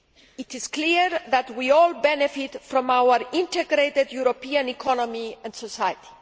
It is clear that we all benefit from our integrated European economy and society.